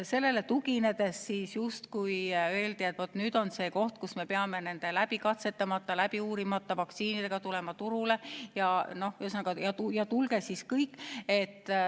Sellele tuginedes öeldi, et vaat nüüd on see hetk, kus me peame nende läbikatsetamata, läbiuurimata vaktsiinidega turule tulema, ja ühesõnaga, tulge siis kõik.